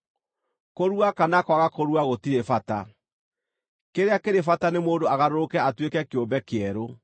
Kũrua kana kwaga kũrua gũtirĩ bata; kĩrĩa kĩrĩ bata nĩ mũndũ agarũrũke atuĩke kĩũmbe kĩerũ.